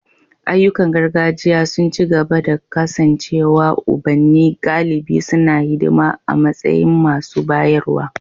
Ayyukan gargajiya sun ci gaba da kasancewa ubanni galibi suna hidima a matsayin masu bayarwa.